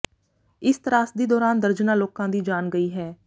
ਇਸ ਤਰਾਸਦੀ ਦੌਰਾਨ ਦਰਜਨਾਂ ਲੋਕਾਂ ਦੀ ਜਾਨ ਗਈ ਹੈ